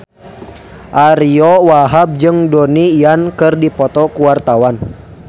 Ariyo Wahab jeung Donnie Yan keur dipoto ku wartawan